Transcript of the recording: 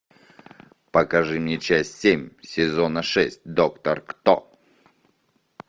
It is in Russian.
покажи мне часть семь сезона шесть доктор кто